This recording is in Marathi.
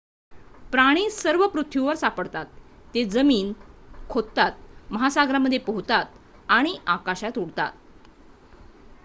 प्राणी सर्व पृथ्वीवर सापडतात ते जमीन खोदतात महासागरांमध्ये पोहोतात आणि आकाशात उडतात